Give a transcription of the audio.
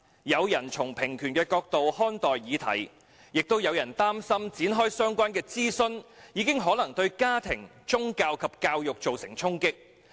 有人從平權的角度看待議題，但也有人擔心展開相關諮詢已可能對家庭、宗教及教育造成衝擊。